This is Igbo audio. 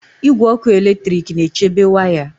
Igwe ọkụ eletrik na-echebe waya